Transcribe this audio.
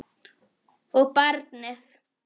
Og barnið.